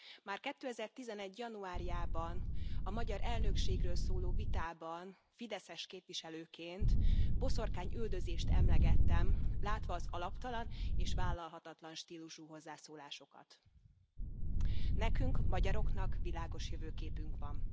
Már 2011 januárjában a magyar elnökségről szóló vitában fideszes képviselőként boszorkányüldözést emlegettem, látva az alaptalan és vállalhatatlan stílusú hozzászólásokat. Nekünk, magyaroknak, világos jövőképünk van.